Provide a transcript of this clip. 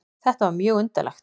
Þetta var mjög undarlegt.